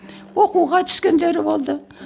оқуға түскендері болды